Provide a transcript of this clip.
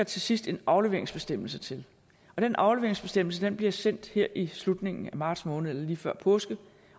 til sidst en afleveringsbestemmelse til den afleveringsbestemmelse blev sendt her i slutningen af marts måned eller lige før påske